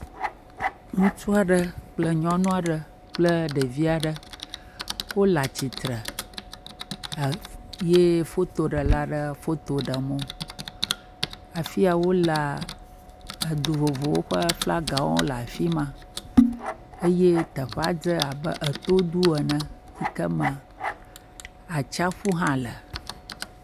Ŋutsu aɖe kple nyɔnu aɖe kple ɖevi aɖe. Wole atsi tre ɛɛ ye fotoɖela ɖe foto ɖem wo. Afia wolea, edu vovowo ƒe flagawo le afi ma. Eye teƒea dzé abe etodu ene yi ke me atsaƒu hã le.